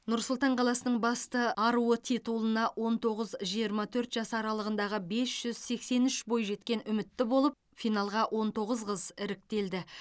нұр сұлтан қаласының басты аруы титулына он тоғыз жиырма төрт жас аралығындағы бес жүз сексен үш бойжеткен үмітті болып финалға он тоғыз қыз іріктелді